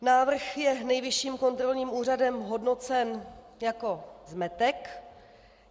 Návrh je Nejvyšším kontrolním úřadem hodnocen jako zmetek.